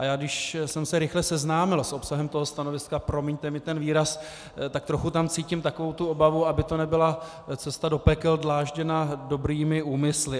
A já, když jsem se rychle seznámil s obsahem toho stanoviska, promiňte mi ten výraz, tak trochu tam cítím takovou tu obavu, aby to nebyla cesta do pekel dlážděná dobrými úmysly.